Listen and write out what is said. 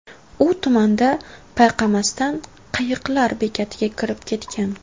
U tumanda payqamasdan, qayiqlar bekatiga kirib ketgan.